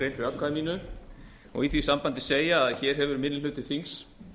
fyrir atkvæði mínu og í því sambandi segja að hér hefur minni hluti þings